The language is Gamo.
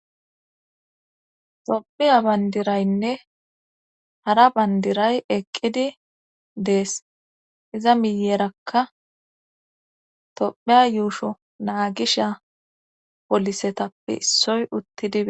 Toophiya bandiraynne hara bandiray eqqidi dees iza miyeerakka tophea yuusho naagisha polisetappe issoy utti dibe